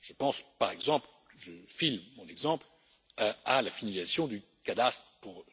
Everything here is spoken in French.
Je pense, par exemple, à la finalisation du cadastre pour